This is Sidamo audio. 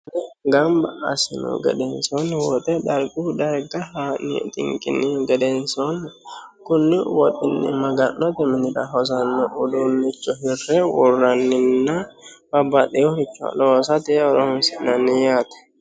Gamba assinihu gedensoonni woxe darguyi darga haa'ne xinqinihu gedeensoonni konni woxinni maga'note minira hosanno uduunicho hirre worraninna babbaxeworicho loosate horonsi'nanni yaate.